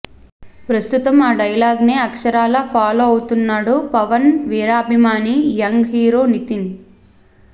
ప్రస్తుతం ఆ డైలాగ్నే అక్షరాల ఫాలో అవుతున్నాడు పవన్ వీరాభిమాని యంగ్ హీరో నితిన్